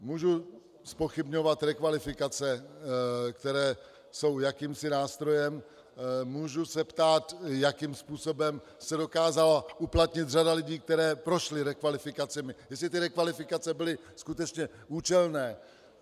Můžu zpochybňovat rekvalifikace, které jsou jakýmsi nástrojem, můžu se ptát, jakým způsobem se dokázala uplatnit řada lidí, kteří prošli rekvalifikacemi, jestli ty rekvalifikace byly skutečně účelné.